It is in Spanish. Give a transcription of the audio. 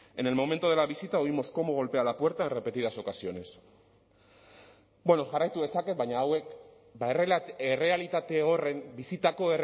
en el momento de la visita oímos cómo golpea la puerta en repetidas ocasiones bueno jarraitu dezaket baina hauek errealitate horren bizitako